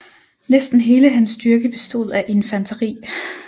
Næsten hele hans styrke bestod af infanteri